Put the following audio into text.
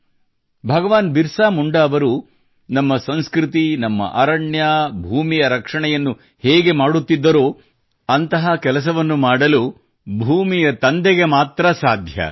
ಭಗವಾನ್ ಬಿರಸಾ ಮುಂಡಾ ಅವರು ನಮ್ಮ ಸಂಸ್ಕೃತಿ ನಮ್ಮ ಅರಣ್ಯ ಭೂಮಿ ರಕ್ಷಣೆಯನ್ನುಮಾಡುತ್ತಿದ್ದರೋ ಅಂತಹ ಕೆಲಸವನ್ನು ಮಾಡಲು ಭೂಮಿಯ ತಂದೆ ಮಾತ್ರಾಮಾಡಬಲ್ಲರು